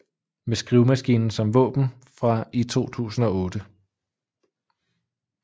Med skrivemaskinen som våben fra i 2008